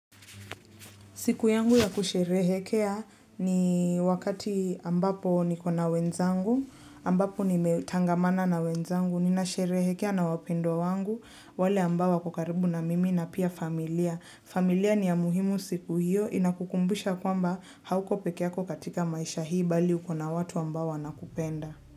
Siku yangu ya kusherehekea ni wakati ambapo niko na wenzangu, ambapo nimetangamana na wenzangu, ninasherehekea na wapendwa wangu, wale ambao wako karibu na mimi na pia familia. Familia ni ya muhimu siku hiyo, inakukumbusha kwamba hauko pekee yako katika maisha hii bali uko na watu ambao wanakupenda.